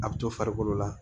A bɛ to farikolo la